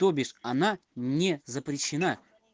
то есть она не запрещена